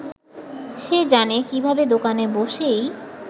সে জানে কীভাবে দোকানে বসেই